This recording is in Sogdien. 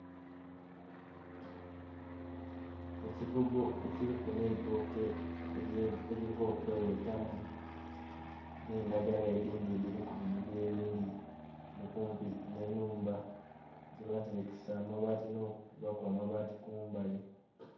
Ekigogo ekiriku n'eitooke eriva okweghetamu, n'endagala edhindhi edhiri kubigogo ebindhi, okumpi n'enhumba gyebaserekesa amabaati n'okukubaku amabaati kumbali